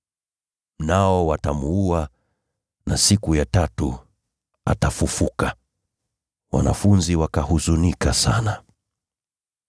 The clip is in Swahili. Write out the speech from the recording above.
Nao watamuua, lakini siku ya tatu atafufuliwa.” Wanafunzi wakahuzunika sana.